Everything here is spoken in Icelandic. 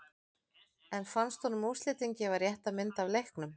En fannst honum úrslitin gefa rétta mynd af leiknum?